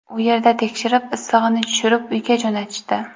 U yerda tekshirib, issig‘ini tushirib, uyga jo‘natishdi.